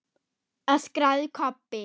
öskraði Kobbi.